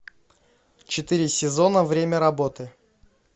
четыре сезона время работы